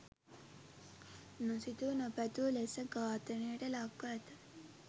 නොසිතූ නොපැතූ ලෙස ඝාතනයට ලක්‌ව ඇත.